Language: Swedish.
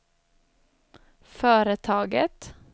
företaget